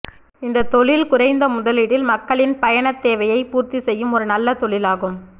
இந்தத் தொழில் குறைந்த முதலீட்டில் மக்களின் பயணத் தேவையைப் பூர்த்திச் செய்யும் ஒரு நல்ல தொழிலாகும்